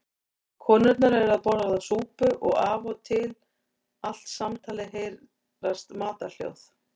Konurnar eru að borða súpu og af og til allt samtalið heyrast matarhljóð.